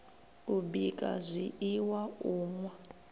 u bika zwiiwa u nwa